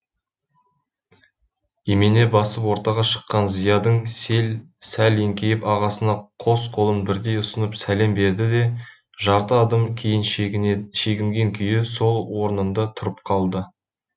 имене басып ортаға шыққан зиядын сәл еңкейіп ағасына қос қолын бірдей ұсынып сәлем берді де жарты адым кейін шегінген күйі сол орнында тұрып қалды